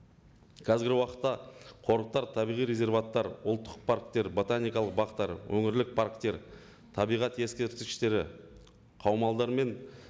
қазіргі уақытта қорықтар табиғи ұлттық парктер ботаникалық бақтар өңірлік парктер табиғат ескерткіштері қаумалдар мен